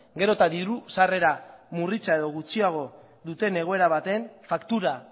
gero eta diru sarrera murritza edo gutxiago duten egoera baten faktura